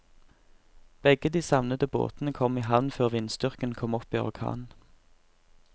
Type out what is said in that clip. Begge de savnede båtene kom i havn før vindstyrken kom opp i orkan.